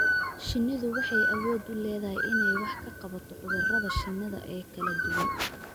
Shinnidu waxay awood u leedahay inay wax ka qabato cudurrada shinnida ee kala duwan.